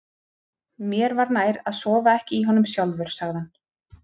Mér var nær að sofa ekki í honum sjálfur, sagði hann.